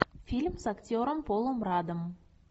фильм с актером полом радом